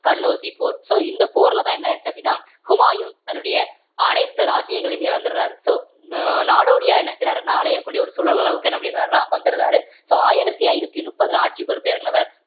கன்னௌசி போர் so இந்த போர்லதான் என்ன ஆயிருச்சு அப்படின்னா ஹுமாயூன் தன்னுடைய அனைத்து ராஜ்யங்களையும் இழந்துடுறாரு so நா~ நாடோடியா என்ன செய்யறாரு அப்படின்னா அலையக்கூடிய ஒரு சூழல் அளவுக்கு என்ன பண்ணிடுறாருன்னா வந்துறாரு so ஆயிரத்தி ஐநூத்தி முப்பதுல ஆட்சி பொறுப்பு இறங்குனவர்